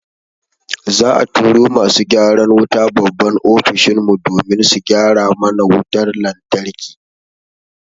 Za'a turo masu gyaran wuta babban Ofishin mu domin su gyara mana wutar lantarki.